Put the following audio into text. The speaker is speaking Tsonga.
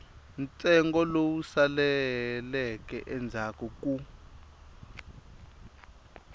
ntsengo lowu saleleke endzhaku ku